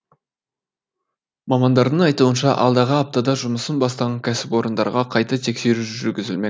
мамандардың айтуынша алдағы аптада жұмысын бастаған кәсіпорындарға қайта тексеру жүргізілмек